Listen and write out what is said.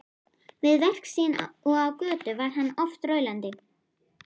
Við verk sín og á götu var hann oft raulandi.